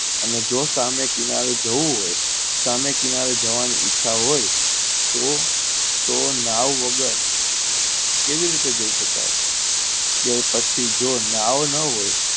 અને જો સામે કિનારે જવું હોય સામે કિનારે જવાની ઈચ્છા હોય તો તો નવ વગર કેવી રીતે જઈ શકાય કે પછી નાવ ન હોય તો